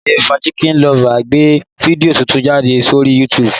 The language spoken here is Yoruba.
Diaryofakitchenlover gbé fídíò titun jáde sórí YouTube